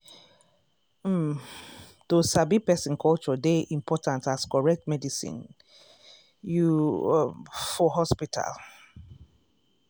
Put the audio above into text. um to sabi person culture dey important as correct medicine you um for hospital.